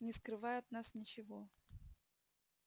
не скрывай от нас ничего